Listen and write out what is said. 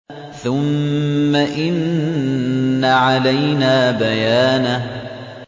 ثُمَّ إِنَّ عَلَيْنَا بَيَانَهُ